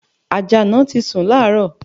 Àjàná ti sun láàárọ̀